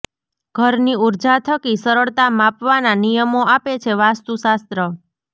ઘરની ઉર્જા થકી સરળતા પામવાના નિયમો આપે છે વાસ્તુશાસ્ત્ર